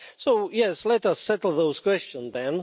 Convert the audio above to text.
So yes, let us settle those questions then.